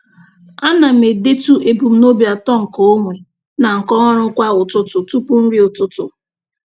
A na m edetu ebumnobi atọ nke onwe na nke ọrụ kwa ụtụtụ tụpụ nri ụtụtụ.